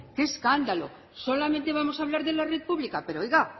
qué escándalo solamente vamos hablar de la red pública pero oiga